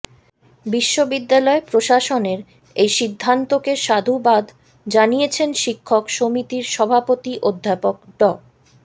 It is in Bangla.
বিশ্ববিদ্যালয় প্রশাসনের এই সিদ্ধান্তকে সাধুবাদ জানিয়েছেন শিক্ষক সমিতির সভাপতি অধ্যাপক ড